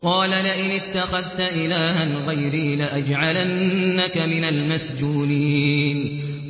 قَالَ لَئِنِ اتَّخَذْتَ إِلَٰهًا غَيْرِي لَأَجْعَلَنَّكَ مِنَ الْمَسْجُونِينَ